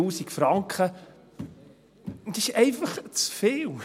3000 Franken, das ist einfach zu viel.